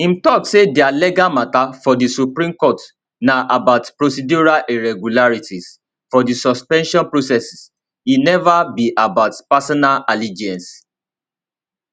im tok say dia legal mata for di supreme court na about procedural irregularities for di suspension process e neva be about personal allegiance